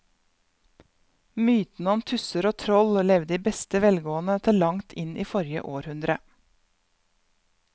Mytene om tusser og troll levde i beste velgående til langt inn i forrige århundre.